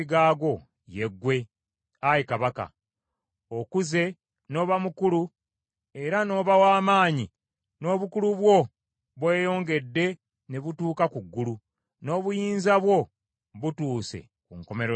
ye ggwe, ayi kabaka! Okuze n’oba mukulu era n’oba w’amaanyi; n’obukulu bwo bweyongedde ne butuuka ku ggulu, n’obuyinza bwo butuuse ku nkomerero y’ensi.